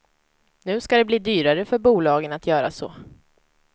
Nu ska det bli dyrare för bolagen att göra så.